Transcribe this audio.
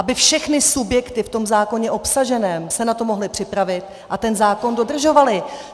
Aby všechny subjekty v tom zákoně obsažené se na to mohly připravit a ten zákon dodržovaly.